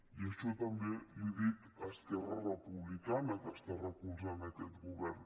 i això també li ho dic a esquerra republicana que està recolzant aquest govern